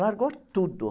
Largou tudo.